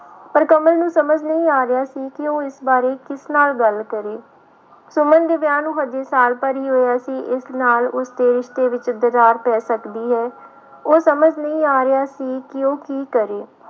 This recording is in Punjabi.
ਪਰ ਕਮਲ ਨੂੰ ਸਮਝ ਨਹੀਂ ਆ ਰਿਹਾ ਸੀ ਕਿ ਉਹ ਇਸ ਬਾਰੇ ਕਿਸ ਨਾਲ ਗੱਲ ਕਰੇ, ਸੁਮਨ ਦੇ ਵਿਆਹ ਨੂੰ ਹਜੇ ਸਾਲ ਭਰ ਹੀ ਹੋਇਆ ਸੀ ਇਸ ਨਾਲ ਉਸਦੇ ਰਿਸਤੇ ਵਿੱਚ ਦਰਾਰ ਪੈ ਸਕਦੀ ਹੈ, ਉਹ ਸਮਝ ਨਹੀਂ ਆ ਰਿਹਾ ਸੀ ਕਿ ਉਹ ਕੀ ਕਰੇ।